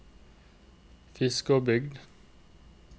Fiskåbygd